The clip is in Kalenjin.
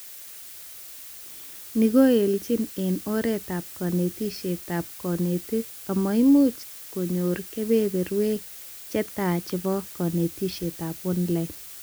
Ni koelchin eng oretab konetishetab konetik amu imuch konyor kebeberwek chetai chebo konetishetab Online